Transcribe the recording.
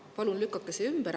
Palun lükake see ümber.